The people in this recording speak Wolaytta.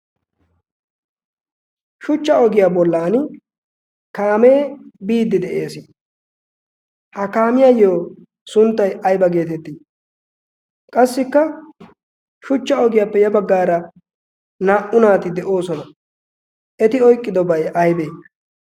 Shuchcha ogiyaa bollan kaamee biiddi de'ees. Ha kaamiyaayyo sunttay ayba geetettii? Qassikka shuchcha ogiyaappe ya baggaara naa''u naati de'oosona. Eti oyqqidobay aybee?